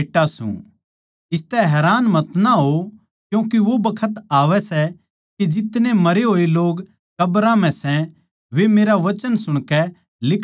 इसतै हैरान मतना होओ क्यूँके वो बखत आवै सै के जितने मरे होए लोग कब्रां म्ह सै वे मेरा वचन सुणकै लिकड़ आवैगें